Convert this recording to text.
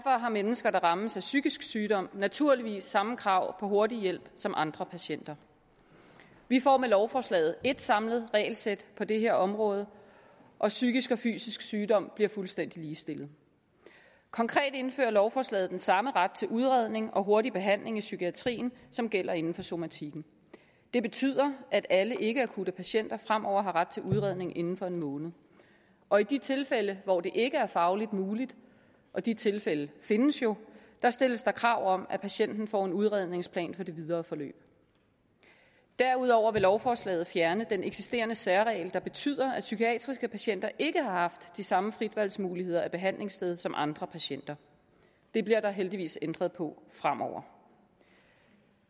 har mennesker der rammes af psykisk sygdom naturligvis samme krav på hurtig hjælp som andre patienter vi får med lovforslaget et samlet regelsæt på det her område og psykisk og fysisk sygdom bliver fuldstændig ligestillet konkret indfører lovforslaget den samme ret til udredning og hurtig behandling i psykiatrien som gælder inden for somatikken det betyder at alle ikkeakutte patienter fremover har ret til udredning inden for en måned og i de tilfælde hvor det ikke er fagligt muligt og de tilfælde findes jo stilles krav om at patienten får en udredningsplan for det videre forløb derudover vil lovforslaget fjerne den eksisterende særregel der betyder at psykiatriske patienter ikke har haft de samme fritvalgsmuligheder behandlingssted som andre patienter det bliver der heldigvis ændret på fremover